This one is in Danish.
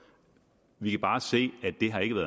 vi kan bare se